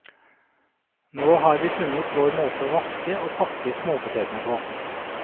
Nå har vi funnet vår måte å vaske og pakke småpotetene på.